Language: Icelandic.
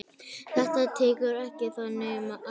Þetta tekur ekki þannig á.